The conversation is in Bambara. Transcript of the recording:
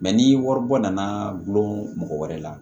ni wari bɔ nana gulɔ mɔgɔ wɛrɛ la